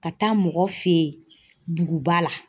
Ka taa mɔgɔ fe yen duguba la.